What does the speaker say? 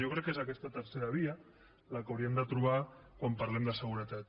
jo crec que és aquesta tercera via la que hauríem de trobar quan parlem de seguretat